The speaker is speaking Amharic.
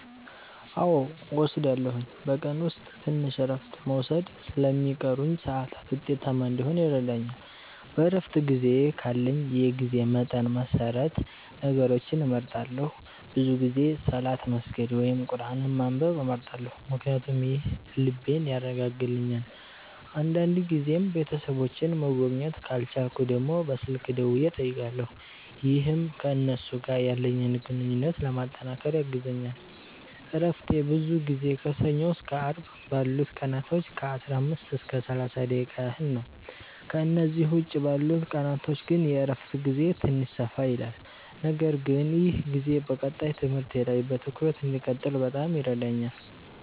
አዎ እወስዳለሁኝ፤ በቀን ውስጥ ትንሽ እረፍት መውሰድ ለሚቀሩኝ ሰዓታት ውጤታማ እንዲሆን ይረዳኛል። በእረፍት ጊዜዬ ካለኝ የጊዜ መጠን መሰረት ነገሮችን እመርጣለሁ፤ ብዙ ጊዜ ሰላት መስገድ ወይም ቁርአን ማንበብ እመርጣለሁ ምክንያቱም ይህ ልቤን ያረጋጋልኛል። አንዳንድ ጊዜም ቤተሰቦቼን መጎብኘት ካልቻልኩ ደግሞ በስልክ ደውዬ እጠይቃለሁ፣ ይህም ከእነሱ ጋር ያለኝን ግንኙነት ለማጠናከር ያግዘኛል። እረፍቴ ብዙ ጊዜ ከሰኞ እስከ አርብ ባሉት ቀናቶች ከ15 እስከ 30 ደቂቃ ያህል ነው፤ ከእነዚህ ውጭ ባሉት ቀናቶች ግን የእረፍት ጊዜዬ ትንሽ ሰፋ ይላል። ነገር ግን ይህ ጊዜ በቀጣይ ትምህርቴ ላይ በትኩረት እንድቀጥል በጣም ይረዳኛል።